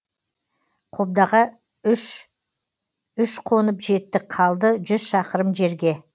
қобдаға үш үш қонып жеттік қалды жүз шақырым жерге